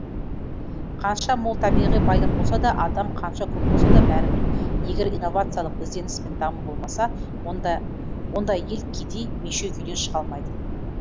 қанша мол табиғи байлық болса да адам қанша көп болса да бәрібір егер инновациялық ізденіс пен даму болмаса ондай ел кедей мешеу күйден шыға алмайды